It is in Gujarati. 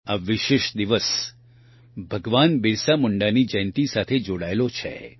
આ વિશેષ દિવસ ભગવાન બિરસા મુંડાની જયંતિ સાથે જોડાયેલો છે